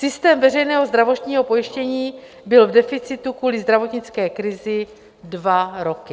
Systém veřejného zdravotního pojištění byl v deficitu kvůli zdravotnické krizi dva roky.